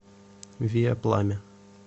виа пламя